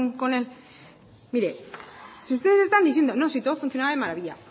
mire si ustedes están diciendo no sí todo funcionaba de maravilla